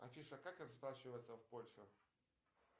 афиша как расплачиваться в польше